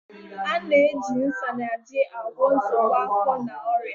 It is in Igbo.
A na-eji Isanaje agwọ nsogbu afọ na ọrịa.